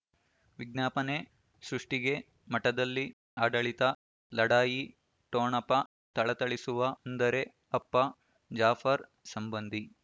ವಿಜ್ಞಾಪನೆ ಸೃಷ್ಟಿಗೆ ಮಠದಲ್ಲಿ ಆಡಳಿತ ಲಢಾಯಿ ಠೊಣಪ ಥಳಥಳಿಸುವ ಅಂದರೆ ಅಪ್ಪ ಜಾಫರ್ ಸಂಬಂಧಿ